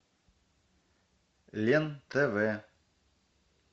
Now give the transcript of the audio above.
лен тв